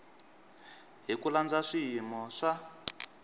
hi ku landza swiyimo swa